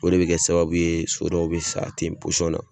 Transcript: O de bɛ kɛ sababu ye so dɔw bɛ sa ten na